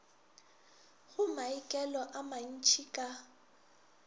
go maikelo a mantšhi ka